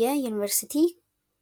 የአስተማሪዎች ሚና